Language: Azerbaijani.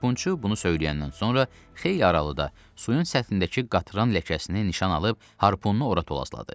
Harpunçu bunu söyləyəndən sonra xeyli aralıda suyun səthindəki qatran ləkəsini nişan alıb harpunu ora tolasladı.